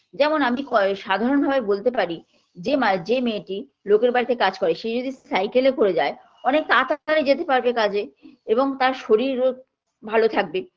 যেমন আমি কয় সাধারণভাবে বলতে পারি যে মা যে মেয়েটির লোকের বাড়িতে কাজ করে সে যদি cycle -এ করে যায় অনেক তাড়াতাড়ি যেতে পারবে কাজে এবং তার শরীরও ভালো থাকবে